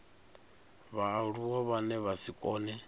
vhaaluwa vhane vha si kone